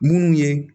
Munnu ye